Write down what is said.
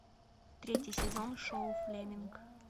третий сезон шоу флеминг